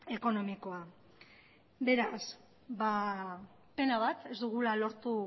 ekonomikoa beraz pena bat ez dugula lortu